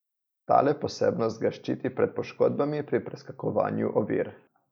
Tale posebnost ga ščiti pred poškodbami pri preskakovanju ovir.